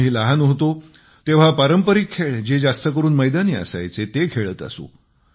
आम्ही लहान होतो तेव्हा आम्ही पारंपरिक खेळ जे जास्त करून मैदानी असायचे ते खेळत असू